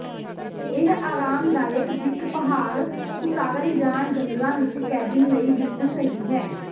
ਇਹ ਆਰਾਮਦਾਇਕ ਦਿੱਖ ਪਹਾੜ ਉਤਾਰਨ ਜਾਂ ਜੰਗਲਾਂ ਵਿਚ ਕੈਬਿਨ ਲਈ ਬਿਲਕੁਲ ਸਹੀ ਹੈ